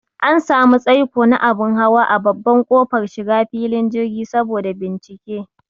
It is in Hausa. An samu tsaiko na abun hawa a babban kofar shiga filin jirgi saboda bincike